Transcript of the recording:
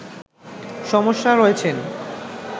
সমস্যায় রয়েছেন